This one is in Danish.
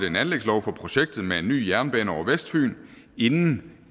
en anlægslov for projektet med en ny jernbane over vestfyn inden